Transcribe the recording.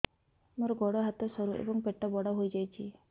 ମୋର ଗୋଡ ହାତ ସରୁ ଏବଂ ପେଟ ବଡ଼ ହୋଇଯାଇଛି